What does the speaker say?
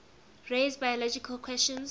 raise biological questions